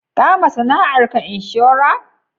Ka ma sana'ar ka inshora?